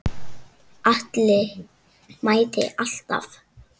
Atli mætti alltaf.